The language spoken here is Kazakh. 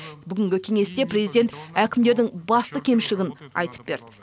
бүгінгі кеңесте президент әкімдердің басты кемшілігін айтып берді